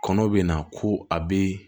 Kɔnɔ bɛ na ko a bɛ